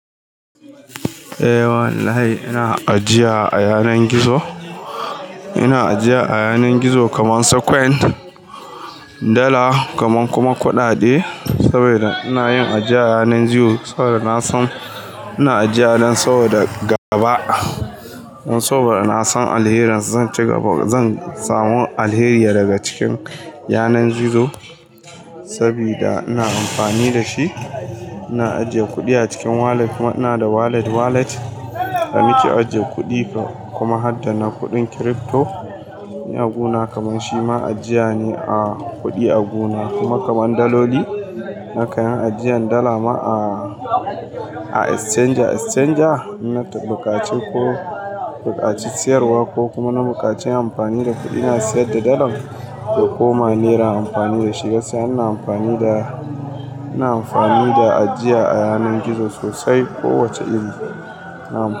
Eh wallahi ina ajiya a yanar gizo. Ina ajiya a yanar gizo kaman su coin, Dala kaman kuma kuɗaɗe. Saboda ina yin ajiya yanan gizo saboda na san, ina ajiya nan saboda gaba. Saboda na san alherinsa zan ci gaba, zan samu alheri daga cikin yanar gizo sabida ina amfani da shi. Ina ajiye kuɗi a cikin walet. Ina da walet walet na mike ajiye kuɗi kuma hadda na kuɗin crypto. Ni a guna kaman shima ajiya ne a kuɗi a guna kuma kaman daloli. Haka nan ajiyan dala ma a exchanger exchanger. Na ta bukaci ko bukaci siyarwa ko kuma na bukaci amfani da kuɗi. Ina sayar da Dalar ya koma Naira amfani da shi gaskiya. Ina amfani da, ina amfani da ajiya a yanar gizo sosai. Ko wace iri ina na'am.